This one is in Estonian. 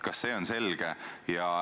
Kas see on selge?